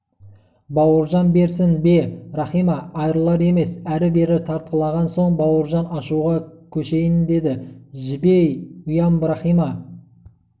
бауыржан берсін бе рахима айрылар емес әрі-бері тартқылаған соң бауыржан ашуға көшейін деді жібей ұям рахима